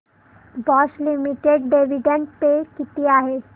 Bosch limited dividend pay किती आहे